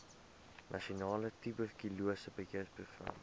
nasionale tuberkulose beheerprogram